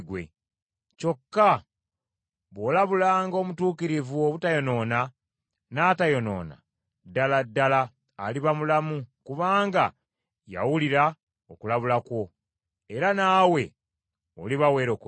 Kyokka bw’olabulanga omutuukirivu obutayonoona, n’atayonoona, ddala ddala aliba mulamu kubanga yawulira okulabula kwo, era naawe oliba weerokodde.”